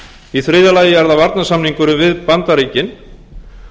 í þriðja lagi er það varnarsamningurinn við bandaríkin